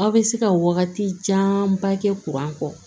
Aw bɛ se ka wagati janba kɛ kɔ